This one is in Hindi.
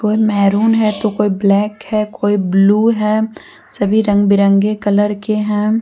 कोई मेहरून है तो कोई ब्लैक है कोई ब्लू है सभी रंग बिरंगे कलर के हैं।